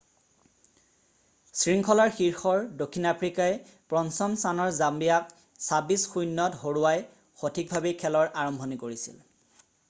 শৃংখলাৰ শীৰ্ষৰ দক্ষিণ আফ্ৰিকাই 5ম স্থানৰ জাম্বিয়াক 26-00ত হৰুৱাই সঠিকভাৱেই খেলৰ আৰম্ভণি কৰিছিল।